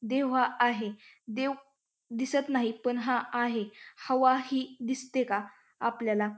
दिवा आहे दीव दिसत नाही पण हा आहे हवा ही दिसते का आपल्याला --